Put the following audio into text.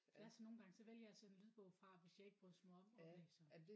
Ja så nogle gange så vælger jeg sådan en lydbog fra hvis jeg ikke brydes mig om oplæseren